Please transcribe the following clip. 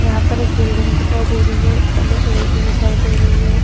यहाँ पर एक बिल्डिंग दिखाई दे रही है एण्ड एक लेडी दिखाई दे रही है।